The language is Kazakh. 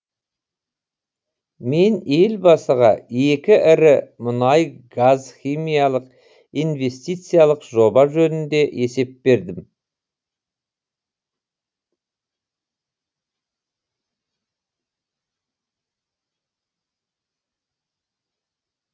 мен елбасыға екі ірі мұнай газ химиялық инвестициялық жоба жөнінде есеп бердім